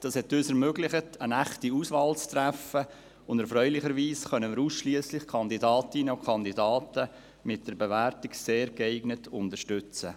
Dies hat es uns ermöglicht, eine echte Auswahl zu treffen, und erfreulicherweise können wir ausschliesslich Kandidatinnen und Kandidaten mit der Bewertung «sehr geeignet» unterstützen.